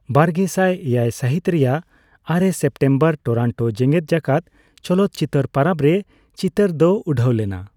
ᱵᱟᱨᱜᱮᱥᱟᱭ ᱮᱭᱟᱭ ᱥᱟᱹᱦᱤᱛ ᱨᱮᱭᱟᱜ ᱟᱨᱮ ᱥᱮᱯᱴᱮᱢᱵᱚᱨ ᱴᱚᱨᱚᱱᱴᱳ ᱡᱮᱜᱮᱫ ᱡᱟᱠᱟᱛ ᱪᱚᱞᱚᱠᱪᱤᱛᱟᱹᱨ ᱯᱚᱨᱚᱵ ᱨᱮ ᱪᱤᱛᱟᱹᱨ ᱫᱚ ᱩᱰᱟᱹᱣ ᱞᱮᱱᱟ ᱾